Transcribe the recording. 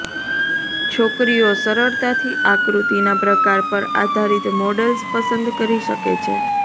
છોકરીઓ સરળતાથી આકૃતિના પ્રકાર પર આધારિત મોડલ્સ પસંદ કરી શકે છે